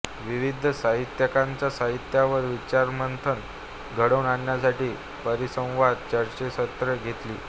विविध साहित्यिकांच्या साहित्यावर विचारमंथन घडवून आणण्यासाठी परिसंवाद चर्चासत्रे घेतली